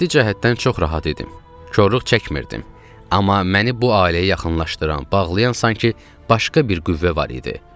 Maddi cəhətdən çox rahat idim, korluq çəkmirdim, amma məni bu ailəyə yaxınlaşdıran, bağlayan sanki başqa bir qüvvə var idi.